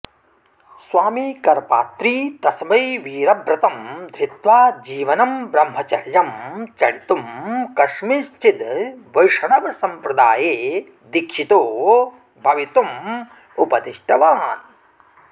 स्वामीकरपात्री तस्मै वीरव्रतं धृत्वाजीवनं ब्रह्मचर्यं चरितुं कस्मिंश्चिद् वैष्णवसम्प्रदाये दीक्षितो भवितुमुपदिष्ट्वान्